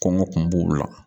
Kɔngɔ kun b'o la